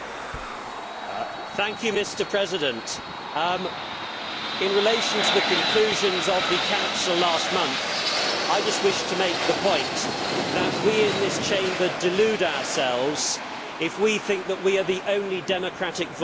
Mr President, in relation to the conclusions of the Council last month, I just wish to make the point that we in this Chamber delude ourselves if we think that we are the only democratic voice in Europe.